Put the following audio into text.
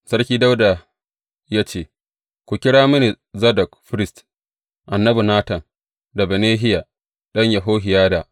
Sarki Dawuda ya ce, Ku kira mini Zadok firist, annabi Natan, da Benahiya ɗan Yehohiyada.